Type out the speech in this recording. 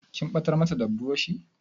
Kin ɓatar mata da burushi?